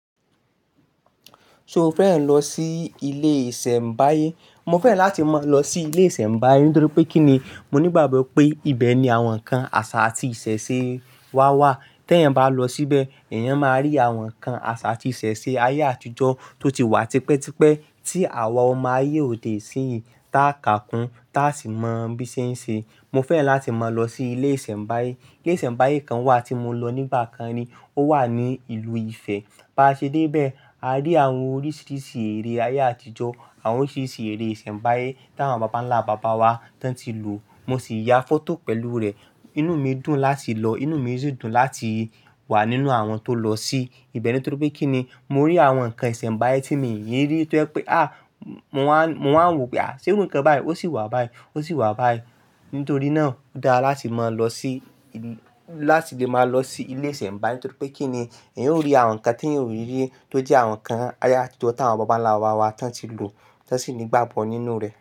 So o fẹ́ran lọ sí ilé ìsẹ̀mbáyé? Mo fẹ́ràn láti máa lọ sí ilé ìsẹ̀mbáyé nítorí pé kí ni? Mo ní ìgbàgbọ́ pé ibẹ̀ ni àwọn nǹkan àṣà àti ìṣẹ̀ṣe wa wà. Tẹ́ ẹ bá lọ síbẹ̀, èèyàn máa rí àwọn nǹkan àṣà àti ìṣẹ̀ṣe ayé àtijọ́ tó ti wà tipẹ́tipẹ́ tí àwa ọmọ ayé òde isin yìí taa kà kun, taa sì mọ bí ṣe ń ṣe. Mo fẹ́ràn láti máa lọ sí ilé ìsẹ̀mbáyé. Ilé ìsẹ̀mbáyé kan wà tí mo lọ nígbà kan ni. Ó wà ní ìlú Ifẹ̀. Bá ṣe dé bẹ́ẹ̀, a rí àwọn oríṣiríṣi ère ayé àtijọ́, àwọn oríṣiríṣi ère ìsẹ̀mbáyé táwọn bàbánlá-bàbá wa tán ti lò. Mo sì ya fọ́tò pẹ̀lú rẹ̀. Inú mi dùn láti lọ. Inú mi sì dùn láti wà nínú àwọn tó lọ sí ibẹ̀ nítorí pé kí ni? Mo rí àwọn nǹkan ìsẹ̀mbáyé tí mi ò rí rí tó jẹ́ pé, à! Mo máa ń wò pé, à! Ṣé irú nǹkan báyìí? Ó sì wà báyìí. Ó sì wà báyìí. Nítorí náà, ó dára láti mọ lọ sí láti lè máa lọ sí ilé ìsẹ̀mbáyé nítorí pé kí ni? Ẹ̀yin ó rí àwọn nǹkan tí ẹ̀yin ò rí rí tó jẹ́ àwọn nǹkan ayé àtijọ́ táwọn bàbánlá-bàbá wa tán ti lò. Tán sì ní ìgbàgbọ́ nínú rẹ̀.